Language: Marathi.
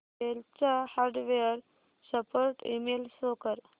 डेल चा हार्डवेअर सपोर्ट ईमेल शो कर